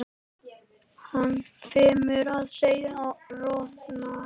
Hann finnur að hann roðnar.